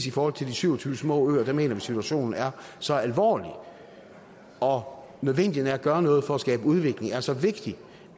i forhold til de syv og tyve små øer mener vi at situationen er så alvorlig og nødvendigheden af at gøre noget for at skabe udvikling er så vigtig